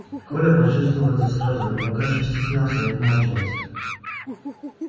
коля почувствовал это сразу но пока ещё стеснялся и отмалчивался